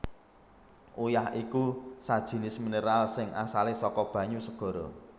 Uyah iku sajinis mineral sing asalé saka banyu segara